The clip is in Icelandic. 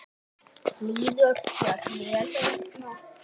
Líður þér vel hérna?